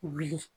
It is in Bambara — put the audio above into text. Wuli